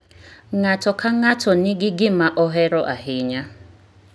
Ng'ato ka ng'ato nigi gima ohero ahinya.